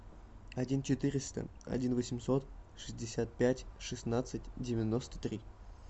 один четыреста один восемьсот шестьдесят пять шестнадцать девяносто три